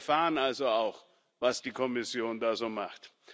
Wir erfahren also auch, was die Kommission so macht.